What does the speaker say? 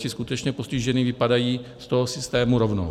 Ti skutečně postižení vypadají z toho systému rovnou.